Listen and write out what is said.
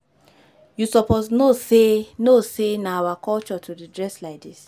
You suppose know sey know sey na our culture to dey dress like dis.